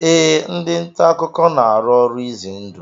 Ee, ndị ntaakụkọ na-arụ ọrụ izendụ